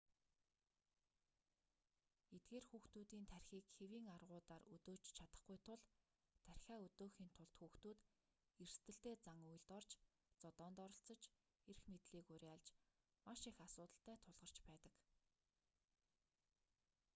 эдгээр хүүхдүүдийн тархиийг хэвийн аргуудаар өдөөж чадахгүй тул тархиа өдөөхийн тулд хүүхдүүд эрсдэлтэй зан үйлд орж зодоонд оролцож эрх мэдлийг уриалж маш их асуудалтай тулгарч байдаг